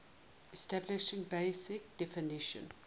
establishing basic definition